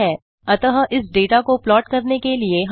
लेकिन plot command का पहला आर्गुमेंट एक ही वेल्यू है